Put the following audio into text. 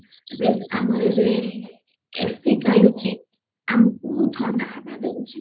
ଦେଖ ଆମର ଏବେ AC ଚାଲୁଚି ଆମକୁ ଥଣ୍ଡା ହାୱା ଦଉଚି